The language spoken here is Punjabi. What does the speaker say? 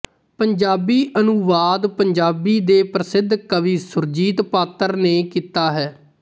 ਪੰਜਾਬੀ ਅਨੁਵਾਦ ਪੰਜਾਬੀ ਦੇ ਪ੍ਰਸਿੱਧ ਕਵੀ ਸੁਰਜੀਤ ਪਾਤਰ ਨੇ ਕੀਤਾ ਹੈ